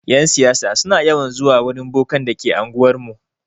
Yan siyasa suna yawan zuwa wurin bokan da ke anguwar mu.